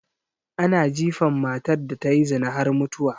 Ana jifan matar da tayi zina har mutuwa